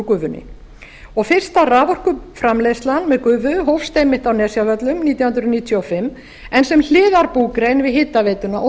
gufunni fyrsta raforkuframleiðslan með gufu bæst einmitt á nesjavöllum nítján hundruð níutíu og fimm en sem hliðarbúgrein við hitaveituna og